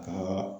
Kaa